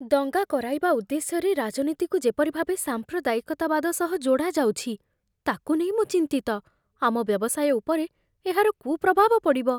ଦଙ୍ଗା କରାଇବା ଉଦ୍ଦେଶ୍ୟରେ ରାଜନୀତିକୁ ଯେପରି ଭାବେ ସାମ୍ପ୍ରଦାୟିକତାବାଦ ସହ ଯୋଡ଼ାଯାଉଛି, ତାକୁ ନେଇ ମୁଁ ଚିନ୍ତିତ, ଆମ ବ୍ୟବସାୟ ଉପରେ ଏହାର କୁପ୍ରଭାବ ପଡ଼ିବ।